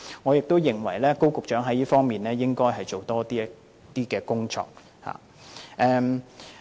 我認為高局長在這方面應該多做工作。